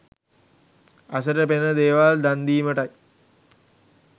ඇසට පෙනෙන දේවල් දන්දීමටයි.